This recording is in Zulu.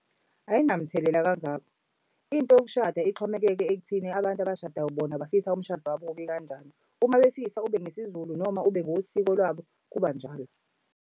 Ay'namthelela kangaka, into yokushada ixhomekeke ekuthini abantu abashadayo bona bafisa umshado wabo ube kanjani. Uma befisa ube ngesiZulu noma ube ngosiko lwabo kuba njalo.